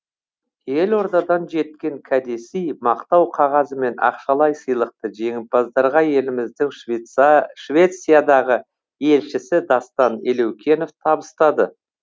елордадан жеткен кәдесый мақтау қағазы мен ақшалай сыйлықты жеңімпаздарға еліміздің швециядағы елшісі дастан елеукенов табыстады